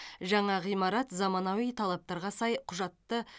жаңа ғимарат заманауи талаптарға сай құжатты